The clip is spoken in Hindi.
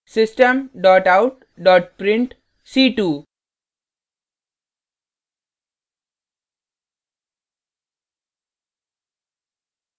system out print c2;